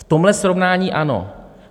V tomhle srovnání ano.